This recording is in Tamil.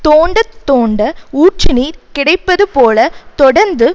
தோண்ட தோண்ட ஊற்றுநீர் கிடைப்பது போல தொடர்ந்து